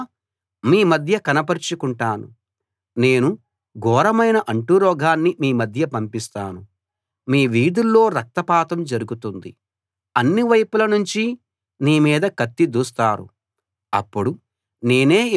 నేను ఘోరమైన అంటురోగాన్ని మీ మధ్య పంపిస్తాను మీ వీధుల్లో రక్తపాతం జరుగుతుంది అన్ని వైపుల నుంచి నీ మీద కత్తి దూస్తారు అప్పుడు నేనే యెహోవానని మీరు తెలుసుకుంటారు